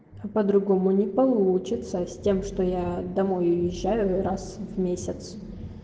по-другому не получится с тем что я домой уезжаю и раз в месяц